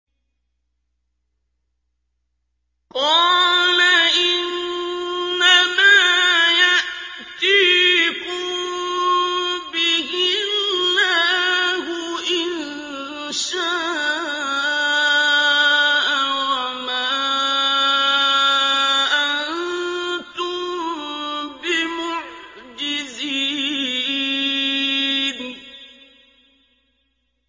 قَالَ إِنَّمَا يَأْتِيكُم بِهِ اللَّهُ إِن شَاءَ وَمَا أَنتُم بِمُعْجِزِينَ